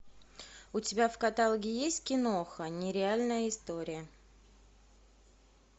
у тебя в каталоге есть киноха нереальная история